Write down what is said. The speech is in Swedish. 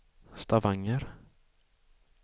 Stavanger